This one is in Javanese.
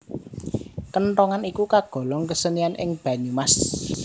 Kenthongan iku kagolong kesenian ing Banyumas